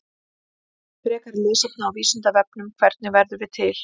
Frekara lesefni á Vísindavefnum: Hvernig verðum við til?